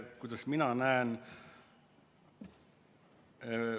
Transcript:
Kuidas mina näen?